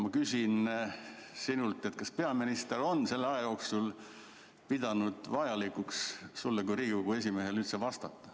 Ma küsin sinult, kas peaminister on selle aja jooksul pidanud vajalikuks sulle kui Riigikogu esimehele vastata.